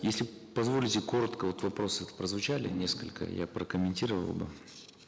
если позволите коротко вот вопросы прозвучали несколько я прокомментирую оба